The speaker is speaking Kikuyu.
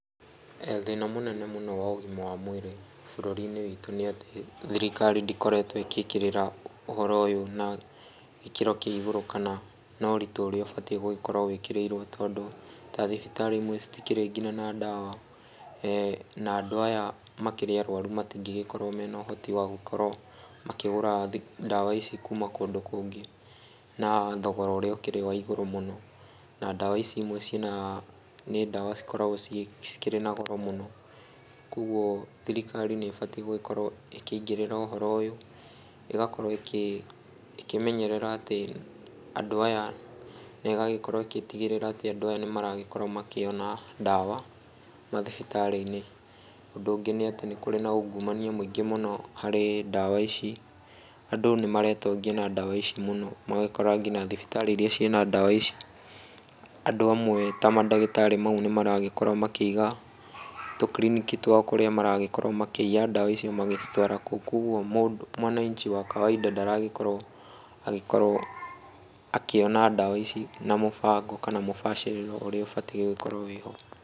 Thĩna mũnene mũno wa ũgima wa mwĩrĩ bũrũri-inĩ witũ nĩ atĩ thirikari ndĩkoretwo ĩgĩkĩrĩra ũhoro ũyũ na gĩkĩro kĩa igũrũ kana na ũritũ ũrĩa ũbatiĩ gũgĩkorwo wĩkĩrĩirwo, tondũ ta thibitarĩ imwe citikĩrĩ nginya na ndawa na andũ aya makĩrĩ arwaru matingĩgĩkorwo marĩ na ũhoti wa gũkorwo makĩgũra ndawa ici kuma kũndũ kũngĩ na thogora ũrĩa ũkĩrĩ wa igũrũ mũno, na ndawa ici imwe cirĩ, ni ndawa cikoragwo cikĩrĩ na goro mũno. Koguo thirikari nĩ ĩbatiĩ gũgĩkorwo ĩkĩingĩrĩrĩra ũhoro ũyũ, ĩgakorwo ĩkĩmenyerera atĩ andũ aya, na ĩgagĩkorwo ĩgĩtigĩrĩra atĩ andũ aya nĩmaragĩkorwo makĩona ndawa mathibitarĩ-inĩ. Ũndũ ũngĩ nĩ atĩ nĩ kũrĩ na ungumania mũingĩ mũno harĩ ndawa ici, andũ nĩmaretongia na ndawa ici mũno, magakora nginya thibitarĩ iria cirĩ na ndawa ici, andũ amwe ta mandagĩtarĩ mau nĩ maragĩkorwo makĩiga tũkiriniki twao kũrĩa maragĩkorwo makĩiya ndawa icio magĩcitwaraga kũu koguo mwananchi wa kawaida ndaragĩkorwo akĩona ndawa ici na mũbango kana mũbacĩrĩro ũrĩa ũgĩbatiĩ gũkorwo wĩho.